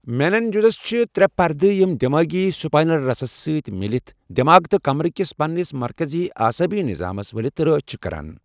میننجزس چھِ تریہٚ پردٕہ یم دمٲغی سپاینل رسس سۭتۍ میٖلِتھ دماغ تہٕ کمبرٕکِس پنس مرکٔزی اعصٲبی نظامس ولِتھ رٲچھ چھِِ کران